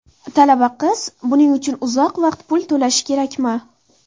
Talaba qiz buning uchun uzoq vaqt pul to‘plashi kerakmi?